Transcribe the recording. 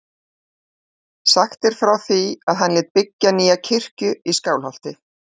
Sagt er frá því að hann lét byggja nýja kirkju í Skálholti.